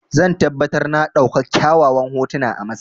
Zan tabbatar na ɗauka kyawawan hotuna a Masar.